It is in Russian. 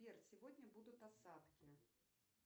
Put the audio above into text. сбер сегодня будут осадки